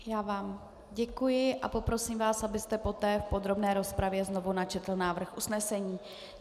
Já vám děkuji a poprosím vás, abyste poté v podrobné rozpravě znovu načetl návrh usnesení.